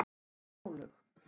Snjólaug